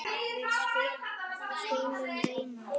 Við skulum reyna.